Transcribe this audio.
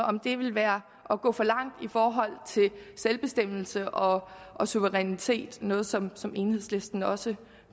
om det ville være at gå for langt i forhold til selvbestemmelse og og suverænitet noget som som enhedslisten også